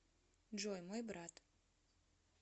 джой мой брат